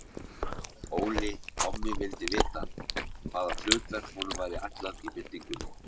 Óli kommi vildi vita, hvaða hlutverk honum væri ætlað í byltingunni.